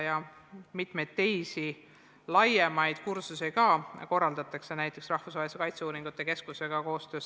Korraldatakse ka mitmeid teisi laiemaid kursusi, näiteks koostöös rahvusvahelise kaitseuuringute keskusega.